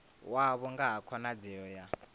wavho nga ha khonadzeo ya